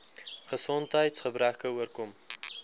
gesondheids gebreke oorkom